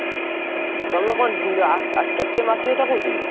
ତମେ କଣ ଆ~ ଆ~ KTM RC କଥା କହୁଛ କି?